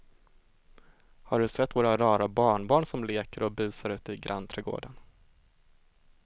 Har du sett våra rara barnbarn som leker och busar ute i grannträdgården!